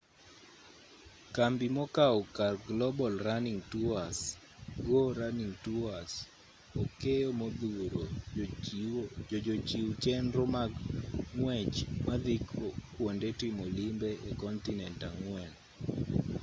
kambi mokao kar global running tours go running tours okeyo modhuro jochiw chenro mag ng'wech madhi kuonde timo limbe e kontinent ang'wen